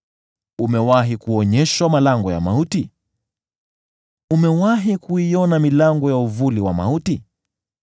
Umewahi kuonyeshwa malango ya mauti? Umewahi kuiona milango ya uvuli wa mauti?